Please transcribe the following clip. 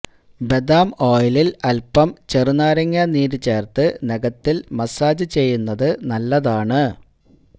ബദാം ഓയിലില് അല്പം ചെറുനാരങ്ങാനീരു ചേര്ത്ത് നഖത്തില് മസാജ് ചെയ്യുന്നത് നല്ലതാണ്